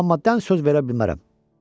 Amma dən söz verə bilmərəm.